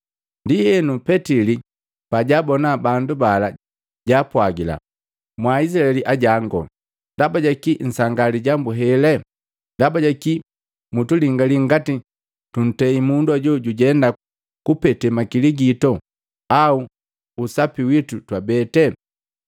Ndienu, Petili pajaabona bandu bala jaapwagila, “Mwa Izilaeli ajangu, ndaba jaki nsangaa lijambu hele? Ndaba jaki mutulingalii ngati tuntei mundu ajo jujenda kupete makiligitu au usapi witu twabete?